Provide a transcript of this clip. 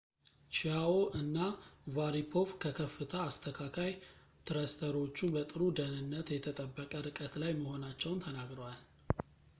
ቺያዎ እና ሻሪፖቭ ከከፍታ አስተካካይ ትረስተሮቹ በጥሩ ደህንነት የተጠበቀ ርቀት ላይ መሆናቸውን ተናግረዋል